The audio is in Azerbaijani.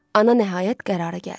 Ana nəhayət qərara gəldi.